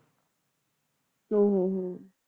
ਹਮ ਹਮ ਹਮ